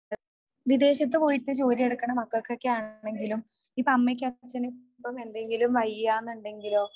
വിദേശത്തു പോയിട്ട് ജോലിയെടുക്കുന്ന മക്കൾക്കൊക്കെ ആണെങ്കിലും ഇപ്പൊ അമ്മക്കോ അച്ഛനോ എന്തെങ്കിലും വയ്യ എന്നുണ്ടെങ്കിലോ